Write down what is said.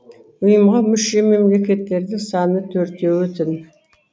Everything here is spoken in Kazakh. ұйымға мүше мемлекеттердің саны төртеу тін